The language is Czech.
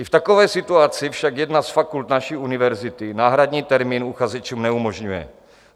I v takové situaci však jedna z fakult naší univerzity náhradní termín uchazečům neumožňuje.